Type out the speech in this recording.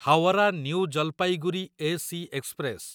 Howrah new Jalpaiguri AC express